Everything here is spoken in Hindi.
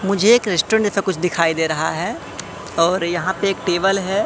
मुझे एक रेस्टोरेंट जैसा कुछ दिखाई दे रहा है और यहां पर एक टेबल है।